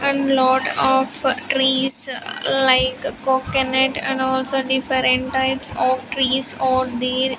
And lot of trees like coconut and also different types of trees are there.